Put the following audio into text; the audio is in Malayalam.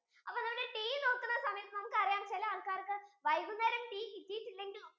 അപ്പൊ tea നോക്കുന്ന സമയത്തു നമുക്ക് അറിയാം ചിലെ ആൾക്കാർക്ക് വൈകുനേരം tea കിട്ടീട്ടിലെങ്കിൽ